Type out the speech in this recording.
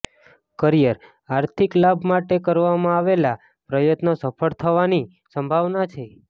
career આર્થિક લાભ માટે કરવામાં આવેલા પ્રયત્નો સફળ થવાની સંભાવના છે